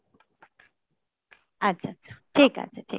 আচ্ছা, আচ্ছা, ঠিক আছে, ঠিক আছে।